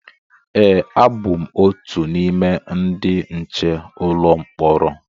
e, abụ m otu n’ime ndị nche ụlọ mkpọrọ